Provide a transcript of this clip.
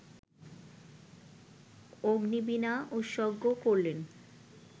অগ্নিবীনা উৎসর্গ করলেন